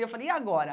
E eu falei, e agora?